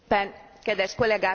Kedves kollégák!